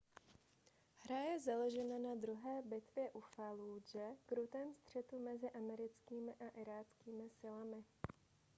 hra je založena na druhé bitvě u fallúdže krutém střetu mezi americkými a iráckými silami